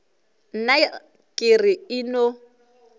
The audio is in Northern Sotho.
nna ke re e no